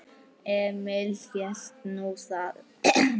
Emil hélt nú það.